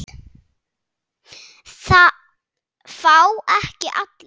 Það fá ekki allir.